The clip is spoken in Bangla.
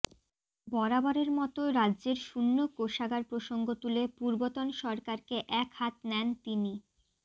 বরাবরের মতো রাজ্যের শূন্য কোষাগার প্রসঙ্গ তুলে পূর্বতন সরকারকে একহাত নেন তিনি